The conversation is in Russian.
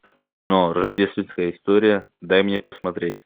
кино рождественская история дай мне посмотреть